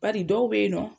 Bari dɔw be yen nɔ